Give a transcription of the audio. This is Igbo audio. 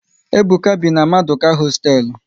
Ebuka bi na Maduka hosteelu